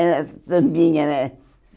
Era sambinha, né?